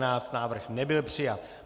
Návrh nebyl přijat.